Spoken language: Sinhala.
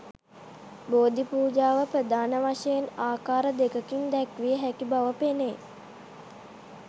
බෝධි පූජාව ප්‍රධාන වශයෙන් ආකාර දෙකකින් දැක්විය හැකි බව පෙනේ.